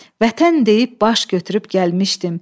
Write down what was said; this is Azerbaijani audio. Vətən deyib baş götürüb gəlmişdim.